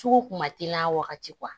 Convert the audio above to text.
Sugu kun ma teli a wagati